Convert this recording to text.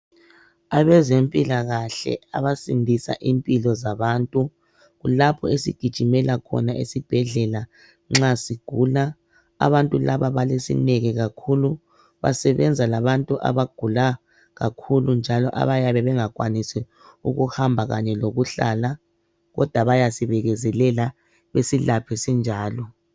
Abezempilakahle, abasindisa impilo zabantu. Kulapho esigijimela khona esibhedlela nxa sigula. Abantu laba balesineke kakhulu. Basebenza labantu abagula kakhulu, njalo abayabe bengakwanisi ukuhamba kanye lokuhlala, kodwa bayasibekezelela. Basilaphe sinjalo.